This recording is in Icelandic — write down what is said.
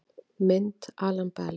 Mynd Alan Bell